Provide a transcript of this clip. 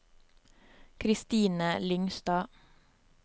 Kristine Lyngstad